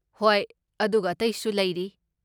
ꯍꯣꯏ, ꯑꯗꯨꯒ ꯑꯇꯩꯁꯨ ꯂꯩꯔꯤ꯫